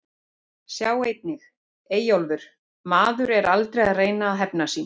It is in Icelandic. Sjá einnig: Eyjólfur: Maður er aldrei að reyna að hefna sín